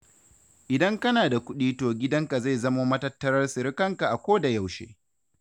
Idan kana da kuɗi to gidanka zai zamo matattarar sirikanka a kodayaushe.